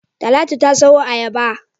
Talatu ta sayo ayaba.